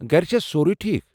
گرٕ چھا سورُے ٹھیٖکھ؟